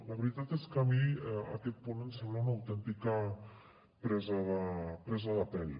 la veritat és que a mi aquest punt em sembla una autèntica presa de presa de pèl